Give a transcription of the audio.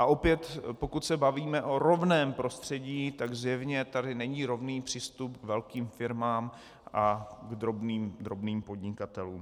A opět, pokud se bavíme o rovném prostředí, tak zjevně tady není rovný přístup k velkým firmám a k drobným podnikatelům.